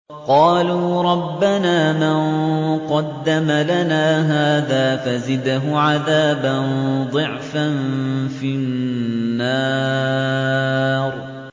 قَالُوا رَبَّنَا مَن قَدَّمَ لَنَا هَٰذَا فَزِدْهُ عَذَابًا ضِعْفًا فِي النَّارِ